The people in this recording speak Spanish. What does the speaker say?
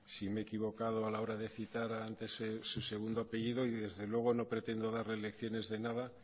si me he equivocado a la hora citar antes su segundo apellido y desde luego no pretendo darle lecciones de nada